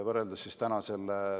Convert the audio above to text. Kaja Kallas, palun!